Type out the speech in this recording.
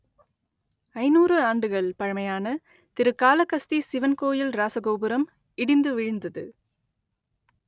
ஐநூறு ஆண்டுகள் பழமையான திரு காளகஸ்தி சிவன் கோயில் இராசகோபுரம் இடிந்து விழுந்தது